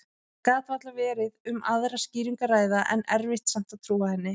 Það gat varla verið um aðra skýringu að ræða, en erfitt samt að trúa henni.